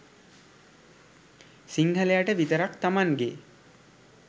සිංහලයට විතරක් තමන්ගේ